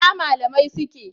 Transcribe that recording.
Ina malamai suke?